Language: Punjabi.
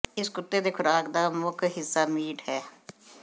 ਇਸ ਕੁੱਤੇ ਦੇ ਖੁਰਾਕ ਦਾ ਮੁੱਖ ਹਿੱਸਾ ਮੀਟ ਹੈ